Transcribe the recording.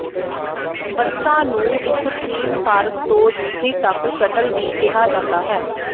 ਬੱਸਾਂ ਨੂੰ ਇਕ ਥੀਮ ਪਾਰਕ ਤੋਂ ਦੂਜੀ ਤੱਕ ਸ਼ਟਲ ਵੀ ਕਿਹਾ ਜਾਂਦਾ ਹੈ